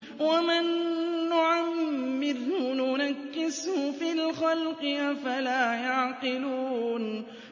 وَمَن نُّعَمِّرْهُ نُنَكِّسْهُ فِي الْخَلْقِ ۖ أَفَلَا يَعْقِلُونَ